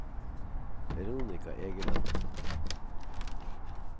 Veronica Egeland